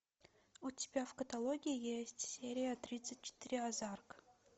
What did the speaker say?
у тебя в каталоге есть серия тридцать четыре озарк